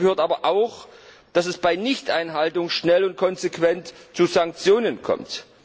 Dazu gehört aber auch, dass es bei Nichteinhaltung schnell und konsequent zu Sanktionen kommt.